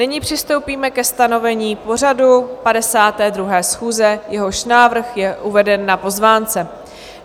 Nyní přistoupíme ke stanovení pořadu 52. schůze, jehož návrh je uveden na pozvánce.